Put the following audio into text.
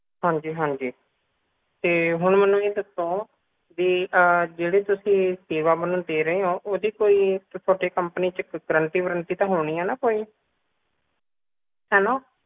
ਹਾਂਜੀ ਹਾਂਜੀ ਤੇ ਹੁਣ ਮੈਨੂੰ ਇਹ ਦੱਸੋ ਕਿ ਤੁਸੀ ਜਿਹੜੀ ਸੇਵਾ ਮੈਨੂੰ ਦੇ ਰਹੇ ਹੋ ਓਹਦੀ ਕੋਈ ਤੁਹਾਡੀ company ਚ ਗਰੰਟੀ ਵਰਨਾਤੀ ਤਾਂ ਹੋਣੀ ਐ ਨਾ ਕੋਈ ਹੈ ਨਾ